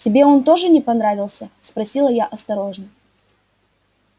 тебе он тоже не понравился спросила я осторожно